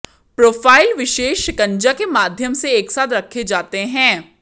profile विशेष शिकंजा के माध्यम से एक साथ रखे जाते हैं